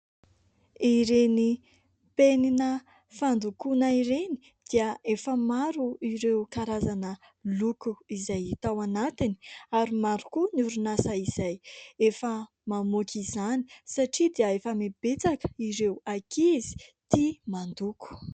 Ireny penina fandokoana ireny dia efa maro ireo karazana loko izay hita ao anatiny ary maro koa ny orinasa izay efa mamoaka izany satria dia efa betsaka ireo ankizy tia mandoko.